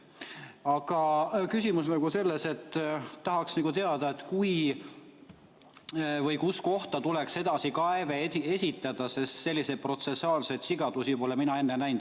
Aga mu küsimus on selles, et tahaks teada, kuhu kohta tuleks edasikaeve esitada, sest selliseid protsessuaalseid sigadusi pole mina näinud.